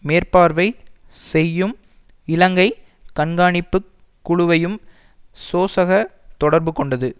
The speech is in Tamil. மேற்பார்வை செய்யும் இலங்கை கண்காணிப்பு குழுவையும் சோசக தொடர்பு கொண்டது